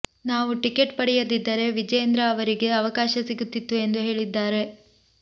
ನಾವು ಟಿಕೆಟ್ ಪಡೆಯದಿದ್ದರೆ ವಿಜಯೇಂದ್ರ ಅವರಿಗೆ ಅವಕಾಶ ಸಿಗುತ್ತಿತ್ತು ಎಂದು ಹೇಳಿದ್ದಾರೆ